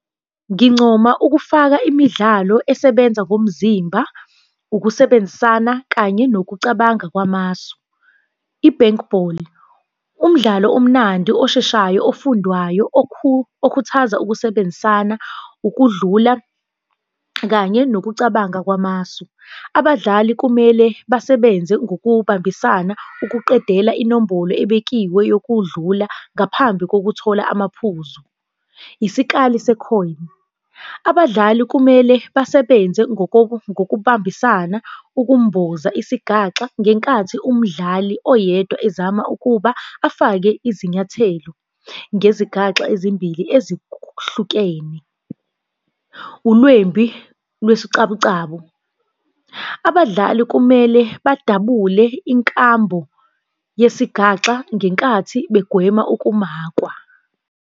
Ngincoma ukufaka imidlalo esebenza ngomzimba, ukusebenzisana, kanye nokucabanga kwamasu. I-bankball, umdlalo omnandi osheshayo ofundwayo, okhuthaza ukusebenzisana, ukudlula kanye nokucabanga kwamasu. Abadlali kumele basebenze ngokubambisana ukuqedela inombolo ebekiwe yokudlula ngaphambi kokuthola amaphuzu, isikali se-coin. Abadlali kumele basebenze ngokubambisana ukumboza isigaxa ngenkathi umdlali oyedwa ezama ukuba afake izinyathelo ngezigaxa ezimbili ezihlukene. Ulwembi lwesicabucabu, abadlali kumele badabule inkambo yesigaxa ngenkathi begwema ukumakwa.